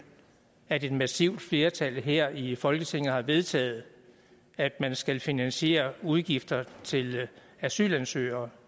at et massivt flertal her i folketinget har vedtaget at man skal finansiere udgifter til asylansøgere